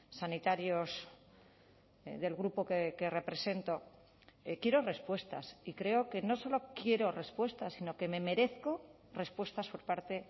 sanitarios del grupo que represento quiero respuestas y creo que no solo quiero respuestas sino que me merezco respuestas por parte